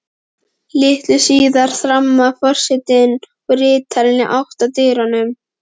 Litlu síðar þramma forsetinn og ritararnir í átt að dyrunum.